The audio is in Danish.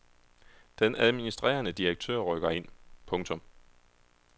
Den administrerende direktør rykker ind. punktum